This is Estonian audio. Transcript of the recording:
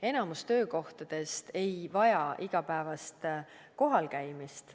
Enamik töökohtadest ei vaja igapäevast kohal käimist.